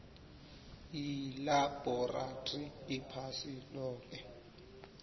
yilabhorathri iphasi loke